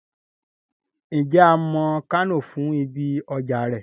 Ǹjẹ́ a mọ Kánò fún ibi ọjà rẹ̀?